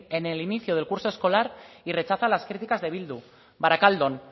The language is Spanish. en el inicio del curso escolar y rechaza las críticas de bildu barakaldon